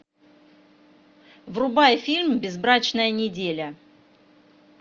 врубай фильм безбрачная неделя